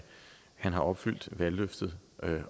han har opfyldt valgløftet